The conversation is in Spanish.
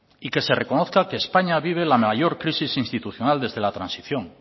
y que se reconozca que españa vive la mayor crisis institucional desde la transición